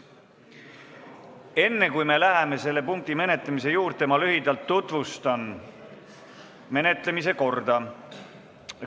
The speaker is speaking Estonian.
Enne, kui me läheme selle punkti menetlemise juurde, ma lühidalt tutvustan menetlemise korda.